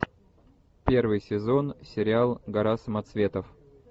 первый сезон сериал гора самоцветов